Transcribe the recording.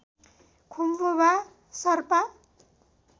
खुम्बु वा शरपा